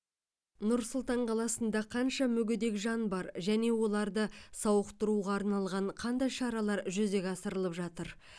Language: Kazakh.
нұр сұлтан қаласында қанша мүгедек жан бар және оларды сауықтыруға арналған қандай шаралар жүзеге асырылып жатыр